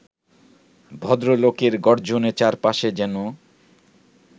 ভদ্রলোকের গর্জনে চারপাশে যেন